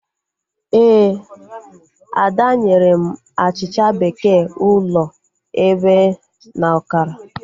Ee, Ada nyere m achịcha bekee ụlọ ebe na ọkara